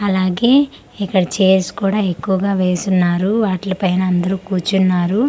అలాగే ఇక్కడ చైర్స్ కూడా ఎక్కువగా వేసున్నారు వాట్లిల్పైన అందరూ కూర్చున్నారు.